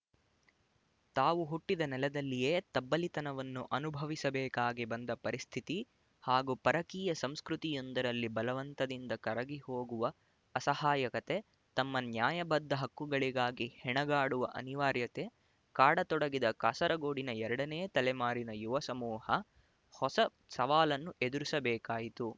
ತಾವು ಹುಟ್ಟಿದ ನೆಲದಲ್ಲಿಯೆ ತಬ್ಬಲಿತನವನ್ನು ಅನುಭವಿಸಬೇಕಾಗಿ ಬಂದ ಪರಿಸ್ಥಿತಿ ಹಾಗೂ ಪರಕೀಯ ಸಂಸ್ಕೃತಿಯೊಂದರಲ್ಲಿ ಬಲವಂತದಿಂದ ಕರಗಿಹೋಗುವ ಅಸಹಾಯಕತೆ ತಮ್ಮ ನ್ಯಾಯಬದ್ಧ ಹಕ್ಕುಗಳಿಗಾಗಿ ಹೆಣಗಾಡುವ ಅನಿವಾರ್ಯತೆ ಕಾಡತೊಡಗಿದ ಕಾಸರಗೋಡಿನ ಎರಡನೇ ತಲೆಮಾರಿನ ಯುವ ಸಮೂಹ ಹೊಸ ಸವಾಲನ್ನು ಎದುರಿಸಬೇಕಾಯಿತು